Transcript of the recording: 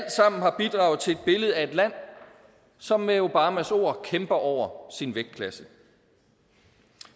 bidrage til billedet af et land som med obamas ord kæmper over sin vægtklasse